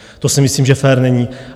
To si myslím, že fér není.